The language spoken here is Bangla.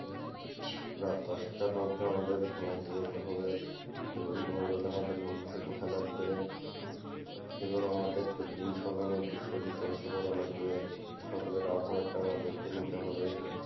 রাত দশটার মধ্যে আমাদের ঘুমাইতে যেতে হবে এবং ভোরবেলা আমাদের ঘুম থেকে ওঠা লাগবে এবং আমাদের প্রতিদিন সকালে উঠে শরীরচর্চা করা লাগবে সকালের আবহাওয়াটা আমাদেরকে নিতে হবে।